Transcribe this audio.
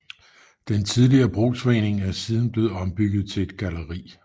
Den tidligere brugsforening er siden blevet ombygget til et galleri